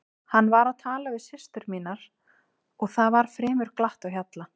Hann var að tala við systur mínar og það var fremur glatt á hjalla.